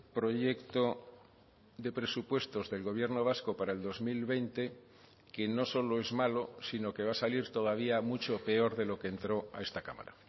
proyecto de presupuestos del gobierno vasco para el dos mil veinte que no solo es malo sino que va a salir todavía mucho peor de lo que entró a esta cámara